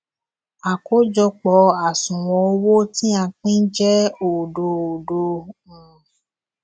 àkójọpò àṣùwòn owó tí a pín jé òdo òdo um